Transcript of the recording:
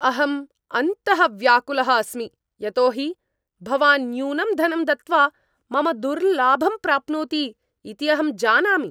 अहं अन्तः व्याकुलः अस्मि यतोहि भवान् न्यूनं धनं दत्त्वा मम दुर्लाभं प्राप्नोति इति अहं जानामि।